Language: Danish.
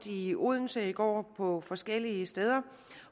i odense i går og rundt på forskellige steder